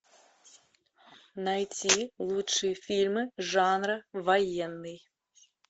найти лучшие фильмы жанра военный